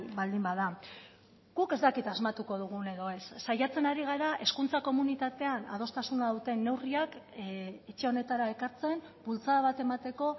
baldin bada guk ez dakit asmatuko dugun edo ez saiatzen ari gara hezkuntza komunitatean adostasuna duten neurriak etxe honetara ekartzen bultzada bat emateko